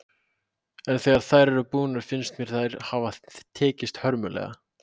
En þegar þær eru búnar finnst mér þær hafa tekist hörmulega.